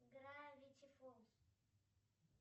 гравити фолз